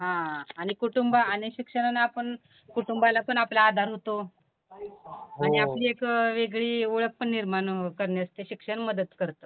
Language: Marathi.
हां आणि कुटुंब आणि शिक्षणानं आपण कुटुंबालापण आपला आधार होतो आणि आपली एक वेगळी ओळखपण निर्माण करण्यासाठी शिक्षण मदत करतं.